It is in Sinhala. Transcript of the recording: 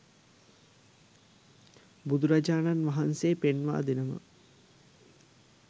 බුදුරජාණන් වහන්සේ පෙන්වා දෙනවා